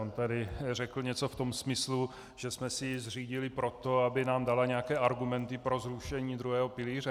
On tady řekl něco v tom smyslu, že jsme si ji zřídili proto, aby nám dala nějaké argumenty pro zrušení druhého pilíře.